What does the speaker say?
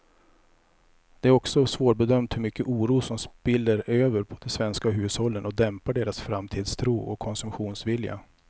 Det är också svårbedömt hur mycket oro som spiller över på de svenska hushållen och dämpar deras framtidstro och konsumtionsvilja.